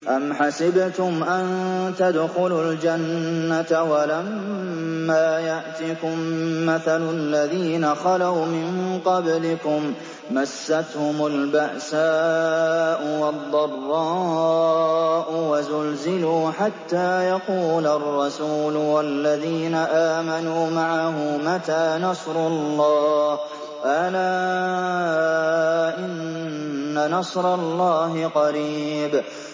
أَمْ حَسِبْتُمْ أَن تَدْخُلُوا الْجَنَّةَ وَلَمَّا يَأْتِكُم مَّثَلُ الَّذِينَ خَلَوْا مِن قَبْلِكُم ۖ مَّسَّتْهُمُ الْبَأْسَاءُ وَالضَّرَّاءُ وَزُلْزِلُوا حَتَّىٰ يَقُولَ الرَّسُولُ وَالَّذِينَ آمَنُوا مَعَهُ مَتَىٰ نَصْرُ اللَّهِ ۗ أَلَا إِنَّ نَصْرَ اللَّهِ قَرِيبٌ